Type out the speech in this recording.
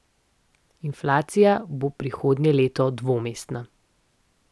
Inflacija bo prihodnje leto dvomestna.